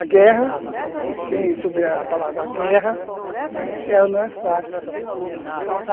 A guerra, quem souber a palavra guerra, ela não é fácil.